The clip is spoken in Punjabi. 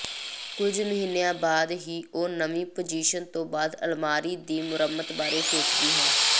ਕੁੱਝ ਮਹੀਨਿਆਂ ਬਾਅਦ ਹੀ ਉਹ ਨਵੀਂ ਪੋਜੀਸ਼ਨ ਤੋਂ ਬਾਅਦ ਅਲਮਾਰੀ ਦੀ ਮੁਰੰਮਤ ਬਾਰੇ ਸੋਚਦੀ ਹੈ